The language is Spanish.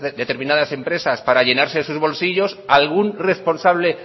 determinadas empresas para llenarse sus bolsillos algún responsable